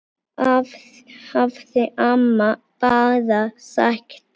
hafði amma bara sagt.